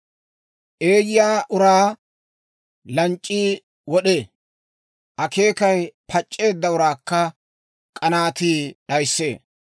Eeyya uraa lanc'c'ii wod'ee; akeekay pac'c'eedda uraakka k'anaatii d'ayissee.